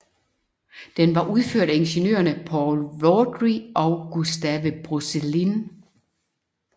Den var udført af ingeniørerne Paul Vaudrey og Gustave Brosselin